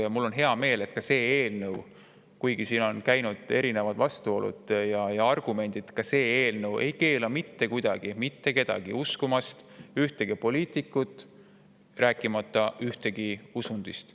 Ja mul on hea meel, et kuigi siin on vastuolusid ja on toodud kõiksugu argumente, see eelnõu ei keela mitte kuidagi mitte kedagi uskumast ühtegi poliitikut, rääkimata ühestki usundist.